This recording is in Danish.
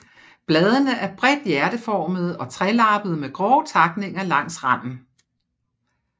Bladene er bredt hjerteformede og trelappede med grove takninger langs randen